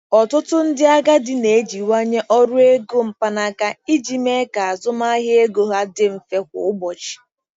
Ọtụtụ ndị agadi na-ejiwanye ọrụ ego mkpanaka iji mee ka azụmahịa ego ha dị mfe kwa ụbọchị.